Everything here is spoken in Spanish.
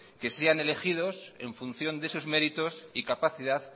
que sean elegidos en función de sus méritos y capacidad